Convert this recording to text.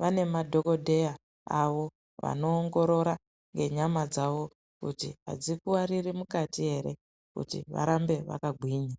vane madhokodheya awo anoongorora nenyama dzawo kuti adzikuwara mukati ere kuti varambe vakagwinya.